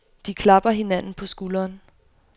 De klapper hinanden på skulderen.